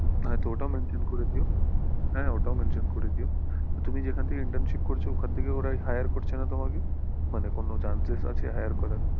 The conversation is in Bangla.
হ্যাঁ তো ওটাও mention করে দিও, হ্যাঁ ওটাও mention করে দিও তুমি যেখান থেকে internship করছো ওখান থেকে ওরা hire করছে না তোমাকে মানে কোনো chances আছে hire করার?